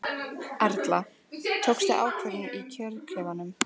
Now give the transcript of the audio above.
Erla: Tókstu ákvörðun í kjörklefanum?